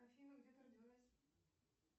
афина где ты родилась